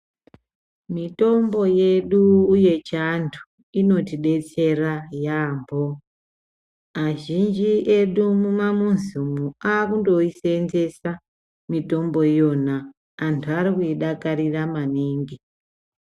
Mitombo yedu yechiandu inoti detsera yambo azhinji edu mumamizi umu akungoisevenzesa mutombo iyona antu arikuidakarira maningi.